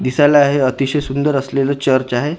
दिसायला हे अतिशय सुंदर असलेलं चर्च आहे ज्याच--